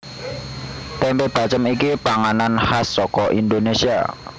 Tempe bacem iki panganan khas saka Indonesia